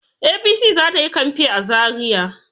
APC za ta yi kamfen za Zariya.